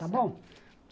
Está bom?